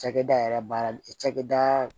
Cakɛda yɛrɛ baarakɛda